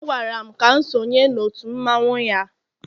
ọ gwara m ka m sonye n'òtù mmanwu ya